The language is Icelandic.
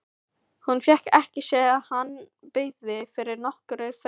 Hún fékk ekki séð að hann byggi yfir nokkurri fegurð.